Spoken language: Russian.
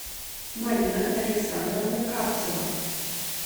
марина александровна карцева